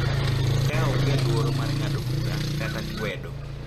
Ka onge luoro mar ng’ado bura kata kwedo.